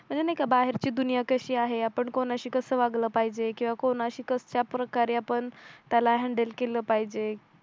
अजून एक आहे बाहेरची दुनिया कशी आहे आपण कोणाशी कसं वागलं पाहिजे किंवा कोणाशी कश्याप्रकारे आपण त्याला हँडल केलं पाहिजे